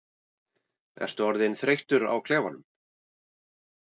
Ertu orðinn þreyttur á klefanum?